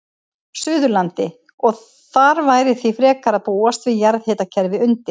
Suðurlandi, og þar væri því frekar að búast við jarðhitakerfi undir.